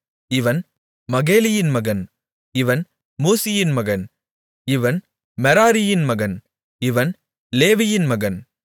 இவன் மகேலியின் மகன் இவன் மூசியின் மகன் இவன் மெராரியின் மகன் இவன் லேவியின் மகன்